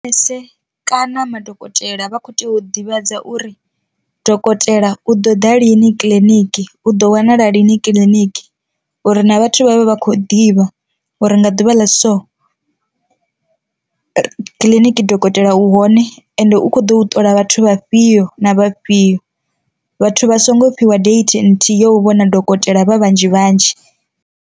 Manese kana madokotela vha kho tea u ḓivhadza uri dokotela u ḓo ḓa lini kiḽiniki u ḓo wanala lini kiḽiniki, uri na vhathu vhavhe vha kho ḓivha uri nga ḓuvha ḽa so kiḽiniki dokotela u hone ende u kho ḓo ṱola vhathu vhafhio na vhafhio, vhathu vha songo fhiwa date nthihi yo u vhona dokotela vha vhanzhi vhanzhi.